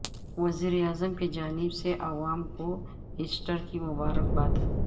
وزیر اعظم کی جانب سے عوام کو ایسٹر کی مبارکباد